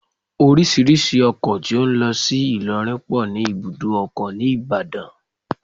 Orísìírísìí ọkọ tó ń lọ sí Ilorin pọ ní ibùdó ọkọ̀ ni Ìbàdàn